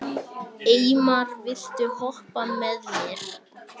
Eymar, viltu hoppa með mér?